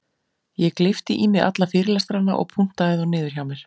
Ég gleypti í mig alla fyrirlestrana og punktaði þá niður hjá mér.